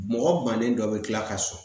Mɔgɔ bannen dɔ bɛ kila ka sɔrɔ